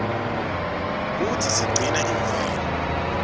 kutsi sigcine imvelo